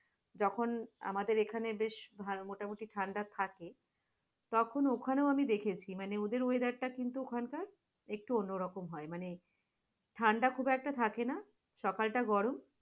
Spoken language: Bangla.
যখন আমাদের এখানে বেশ মোটামুটি ঠান্ডা থাকে , তখন ওখানেও আমি দেখেছি ওদের weather টা কিন্তু ওখানকার একটু অন্য রকম হয় মানে, ঠাণ্ডা খুব একটা থাকেনা সকালটা গরম